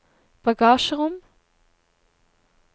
bagasjerom